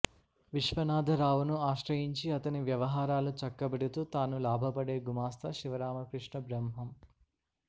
విశ్వనాధరావు ను ఆశ్రయించి అతని వ్యవహారాలు చక్కబెడుతూ తాను లాభపడే గుమస్తా శివరామకృష్ణ బ్రహ్మం